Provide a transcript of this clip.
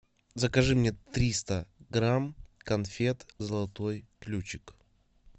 закажи мне триста грамм конфет золотой ключик